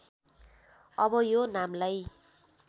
अब यो नामलाई